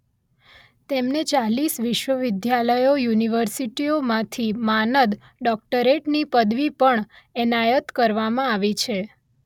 તેમને ચાલીસ વિશ્વવિદ્યાલયો યુનિવર્સિટીઓ માંથી માનદ ડોક્ટરેટની પદવી પણ એનાયત કરવામાં આવી છે